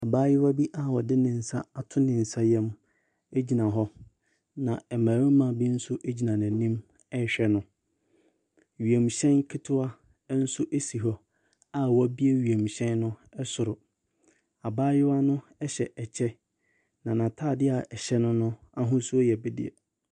Abayewa bi a ɔde ne nsa ato ne nsayam gyina hɔ, na mmarima bi nso gyina n'anim rehwɛ no. wiemhyɛn ketewa nso si hɔ a wɔabue wiemhyɛn no soro. Abayewa no hyɛ kyɛ, na n'atadeɛ a ɛhyɛ no no ahosuo yɛ bedeɛ.